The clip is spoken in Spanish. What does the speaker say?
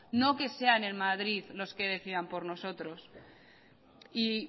no que sean en madrid los que decidan por nosotros y